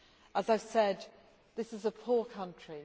As I said, this is a poor country.